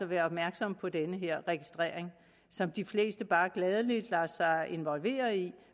være opmærksomme på den her registrering som de fleste bare gladelig lader sig involvere i